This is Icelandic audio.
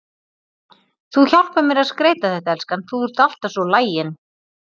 Þú hjálpar mér að skreyta þetta, elskan, þú ert alltaf svo lagin.